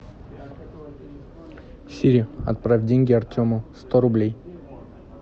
сири отправь деньги артему сто рублей